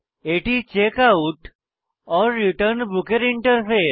এটি checkout return book এর interface